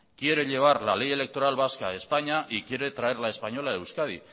quiere llevar la ley electoral vasca a españa y quiere traer la española a euskadi